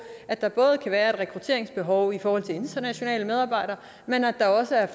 at der både kan være et rekrutteringsbehov i forhold til internationale medarbejdere men at der også er